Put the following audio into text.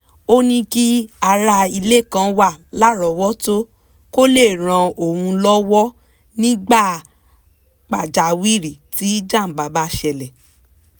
ó ní kí ará ilé kan wà lárọ̀ọ́wọ́tó kó lè ràn òun lọ́wọ́ nígbà pàjáwìrì tí jàǹbá bá ṣẹlẹ̀